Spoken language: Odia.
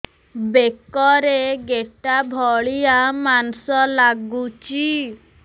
ବେକରେ ଗେଟା ଭଳିଆ ମାଂସ ଲାଗୁଚି